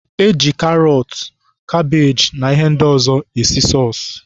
E ji karọt, kabeeji na ihe ndị ọzọ esi sọọsụ